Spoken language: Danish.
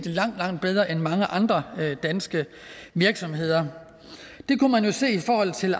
langt langt bedre end mange andre danske virksomheder det kunne man jo se i forhold til